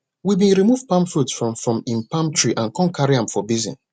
we bin remove palm fruits from from im palm tree and con carry am for basin